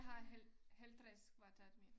Har halv 50 kvadratmeter